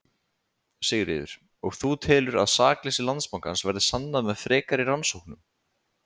Sigríður: Og þú telur að sakleysi Landsbankans verði sannað með frekari rannsóknum?